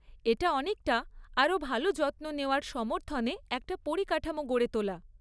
এটা অনেকটা, আরও ভালো যত্ন নেওয়ার সমর্থনে একটা পরিকাঠামো গড়ে তোলা।